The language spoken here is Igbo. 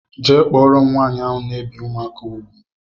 Jee kpọrọ m nwaanyị ahụ na ebi ụmụaka ùgwù!!!!